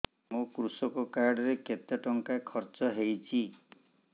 ମୋ କୃଷକ କାର୍ଡ ରେ କେତେ ଟଙ୍କା ଖର୍ଚ୍ଚ ହେଇଚି